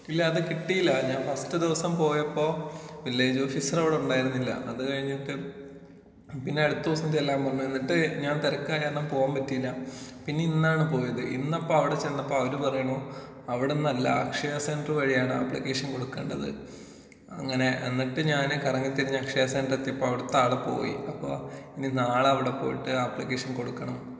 ഇല്ല അത് കിട്ടിയില്ല ഞാൻ ഫസ്റ്റ് ദിവസം പോയപ്പോ വില്ലേജ് ഓഫീസർ അവിടെ ഉണ്ടായിരുന്നില്ല അത് കഴിഞ്ഞിട്ട് പിന്നെ അടുത്ത ദിവസം ചെല്ലാൻ പറഞ്ഞു ഇന്നിട്ട് ഞാൻ തെരക്കായത് കാരണം പോകാൻ പറ്റിയില്ല പിന്നെ ഇന്നാണ് പോയത് ഇന്നപ്പോ അവിടെ ചെന്നപ്പോ അവര് പറയാണ് അവിടുന്നല്ല അക്ഷയ സെന്റർ വഴിയാണ് അപ്ലിക്കേഷൻ കൊടുക്കണ്ടത് അങ്ങനെ എന്നിട്ട് ഞാന് കറങ്ങിത്തിരിഞ്ഞ് അക്ഷയ സെന്റർ എത്തിയപ്പോ അവിടുത്തെ ആള് പോയി അപ്പോ ഇനി നാളെ അവിടെ പോയിട്ട് അപ്ലിക്കേഷൻ കൊടുക്കണം.